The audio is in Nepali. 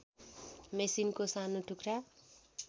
मेसिनको सानो टुक्रा